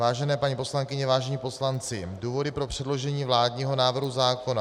Vážené paní poslankyně, vážení poslanci, důvody pro předložení vládního návrhu zákona -